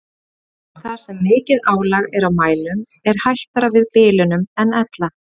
Þar sem mikið álag er á mælum er hættara við bilunum en ella.